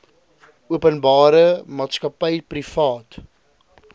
openbare maatskappy privaat